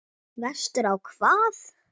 Vestur á hvað?